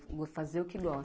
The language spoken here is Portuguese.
Vou fazer o que gosto.